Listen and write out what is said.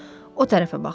O tərəfə baxdı.